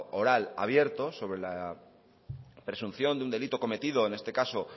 oral abierto sobre la presunción de un delito cometido en este caso